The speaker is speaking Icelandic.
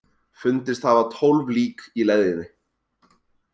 Fundist hafa tólf lík í leðjunni